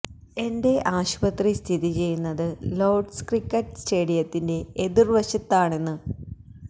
എന്റെ ആശുപത്രി സ്ഥിതി ചെയ്യുന്നത് ലോര്ഡ്സ് ക്രിക്കറ്റ് സ്റ്റേഡിയത്തിന്റെ എതിര്വശത്താണെന്ന്